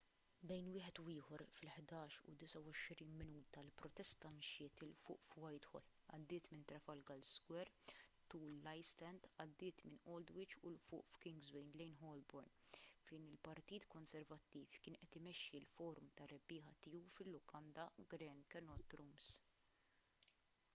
bejn wieħed u ieħor fil-11:29 il-protesta mxiet ’il fuq f’whitehall għaddiet minn trafalgar square tul l-istrand għaddiet minn aldwych u ’l fuq f’kingsway lejn holborn fejn il-partit konservattiv kien qed imexxi l-forum tar-rebbiegħa tiegħu fil-lukanda grand connaught rooms